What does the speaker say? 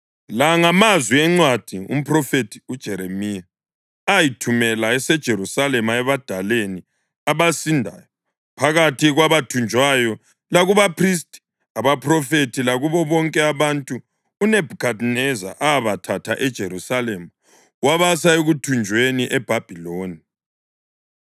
La ngamazwi encwadi umphrofethi uJeremiya ayithumela eseJerusalema ebadaleni abasindayo phakathi kwabathunjwayo lakubaphristi, abaphrofethi, lakubo bonke abantu uNebhukhadineza abathatha eJerusalema wabasa ekuthunjweni eBhabhiloni.